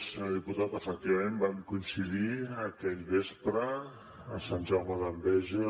senyor diputat efectivament vam coincidir aquell vespre a sant jaume d’enveja